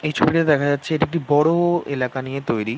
এই ছবিতে দেখা যাচ্ছে এটি একটি বড়ো এলাকা নিয়ে তৈরী।